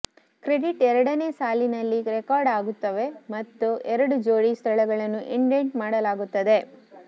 credits ಎರಡನೆಯ ಸಾಲಿನಲ್ಲಿ record ಆಗುತ್ತವೆ ಮತ್ತು ಎರಡು ಜೋಡಿ ಸ್ಥಳಗಳನ್ನು ಇಂಡೆಂಟ್ ಮಾಡಲಾಗುತ್ತದೆ